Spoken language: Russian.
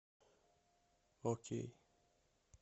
окей